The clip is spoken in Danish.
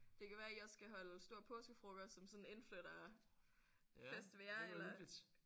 Det kan være I også skal holde stor påskefrokost som sådan indflytterfest ved jer? Eller?